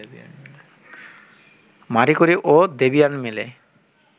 মারি ক্যুরি ও দ্যবিয়ের্ন মিলে